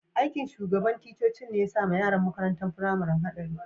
Aiki'n shugaban ticcocin ne ya sa ma yaran makarantan firamarin kadari.